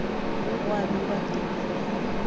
mme gwa bewa temana ye